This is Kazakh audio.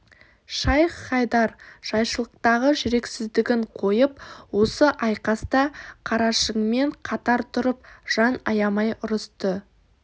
шайх-хайдар жайшылықтағы жүрексіздігін қойып осы айқаста қарашыңмен қатар тұрып жан аямай ұрысты